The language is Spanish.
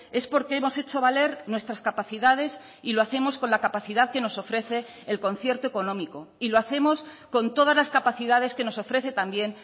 es porque hemos hecho valer nuestras capacidades y lo hacemos con la capacidad que nos ofrece el concierto económico y lo hacemos con todas las capacidades que nos ofrece también